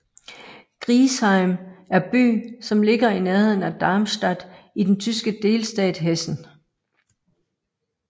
Griesheim er by som ligger i nærheden af Darmstadt i den tyske delstat Hessen